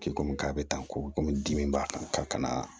K'i komi k'a bɛ tan komi dimi b'a kan